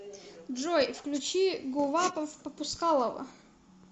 джой включи гувапов попускалово